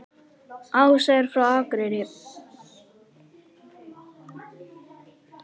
Ása er frá Akureyri.